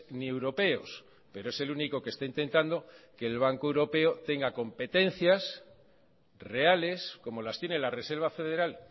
ni europeos pero es el único que está intentando que el banco europeo tenga competencias reales como las tiene la reserva federal